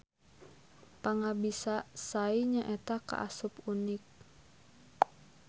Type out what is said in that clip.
Pangabisa Sai nyaeta kaasup unik.